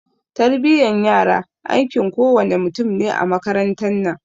Tarbiyan yara aikin kowa ne mutum ne a makarantan nan